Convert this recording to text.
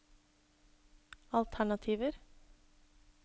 alternativer